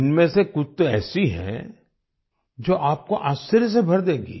इनमें से कुछ तो ऐसी हैं जो आपको आश्चर्य से भर देंगी